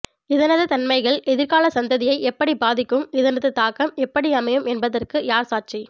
இதனது தன்மைகள் எதிர்கால சந்ததியை எப்படி பாதிக்கும் இதனது தாக்கம் எப்படி அமையும் என்பதற்கு யார் சாட்சி